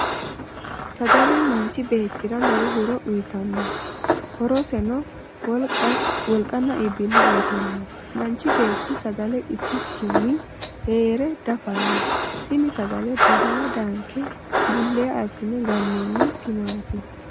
Sagale manchi beetira lowo horo uyitano horoseno wolqanna iibile uyitano. Manchi beeti sagale itikinni heere dafano. Tinni sagale badale daanke bulee asinni ganoonni timaati.